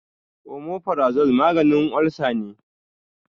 omaforazol maganin olsa ne